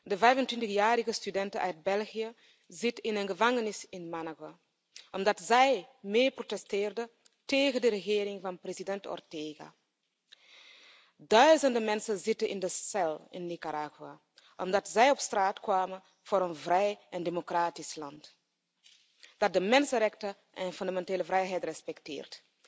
Deze 25 jarige studente uit België zit in een gevangenis in Managua omdat zij mee protesteerde tegen de regering van president Ortega. Duizenden mensen zitten in de cel in Nicaragua omdat zij op straat kwamen voor een vrij en democratisch land dat de mensenrechten en fundamentele vrijheden respecteert.